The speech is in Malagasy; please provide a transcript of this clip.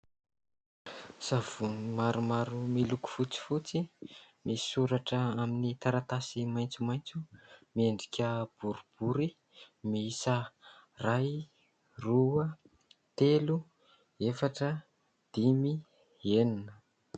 Savony maromaro miloko fotsifotsy misy soratra amin'ny taratasy maitsomaitso, miendrika boribory miisa iray, roa, telo, efatra, dimy, enina.